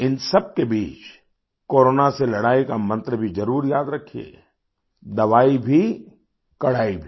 इन सबके बीच कोरोना से लड़ाई का मंत्र भी जरुर याद रखिए दवाई भी कड़ाई भी